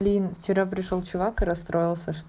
вчера пришёл чувака расстроил